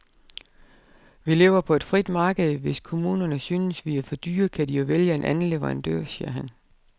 Vi lever på et frit marked, hvis kommunerne synes vi er for dyre, kan de jo vælge en anden leverandør, siger han.